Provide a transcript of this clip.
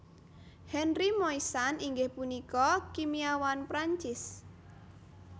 Henri Moissan inggih punika kimiawan Prancis